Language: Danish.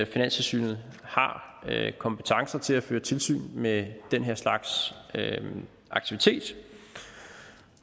finanstilsynet har kompetencen til at føre tilsyn med den her slags aktivitet